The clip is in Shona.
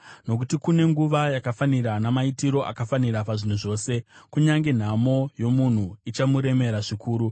Nokuti kune nguva yakafanira namaitiro akafanira pazvinhu zvose, kunyange nhamo yomunhu ichimuremera zvikuru.